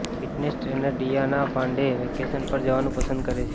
fitness trainer Diana Pandey vacation પર જવાનું પસંદ કરે છે